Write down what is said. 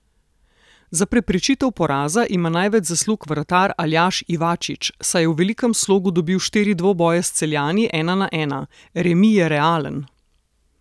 Za preprečitev poraza ima največ zaslug vratar Aljaž Ivačič, saj je v velikem slogu dobil štiri dvoboje s Celjani ena na ena: "Remi je realen.